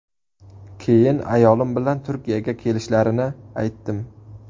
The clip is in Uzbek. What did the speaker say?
Keyin ayolim bilan Turkiyaga kelishlarini aytdim.